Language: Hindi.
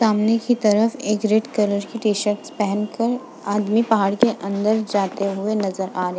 सामने की तरफ एक रेड कलर की टीशर्ट पहन कर आदमी पहाड़ के अंदर जाते हुए नजर आ रहे --